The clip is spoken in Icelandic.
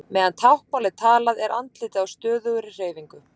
Meðan táknmál er talað er andlitið á stöðugri hreyfingu.